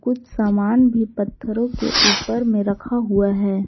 कुछ सामान भी पत्थरों के ऊपर में रखा हुआ है।